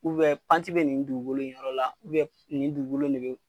panti bɛ nin dugukolo nin yɔrɔ la nin dugukolo in de bɛ